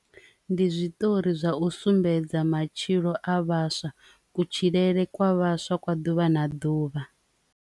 Ndi zwiṱori zwa u sumbedza matshilo a vhaswa kutshilele kwa vhaswa kwa ḓuvha na ḓuvha.